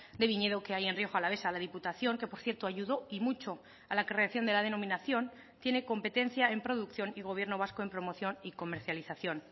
de viñedo que hay en rioja alavesa la diputación que por cierto ayudó y mucho a la creación de la denominación tiene competencia en producción y gobierno vasco en promoción y comercialización